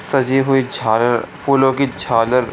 सजी हुई झालर फूलो की झालर ।